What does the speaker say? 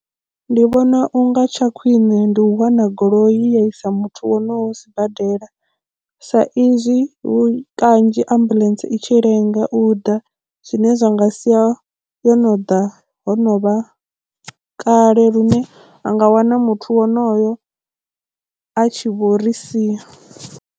Ndi vhona unga tsha khwiṋe ndi u wana goloi ya isa muthu wo no sibadela sa izwi kanzhi ambuḽentse i tshi lenga u ḓa zwine zwa nga sia yo no ḓa ho no vha kale lune a nga wana muthu wonoyo a tshi vho ri sia.